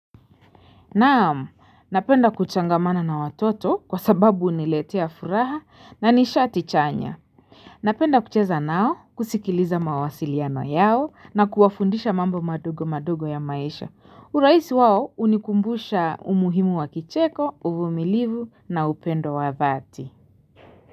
Naam, napenda kuchangamana na watoto kwa sababu uniletea furaha na nishati chanya. Napenda kucheza nao kusikiliza mawasiliano yao na kuwafundisha mambo madogo madogo ya maisha. Urahisi wao unikumbusha umuhimu wa kicheko, uvumilivu na upendo wa dhati.